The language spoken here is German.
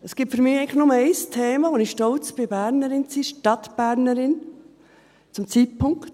Es gibt für mich eigentlich nur ein Thema, bei dem ich stolz bin, Bernerin zu sein, Stadtbernerin, zum Zeitpunkt: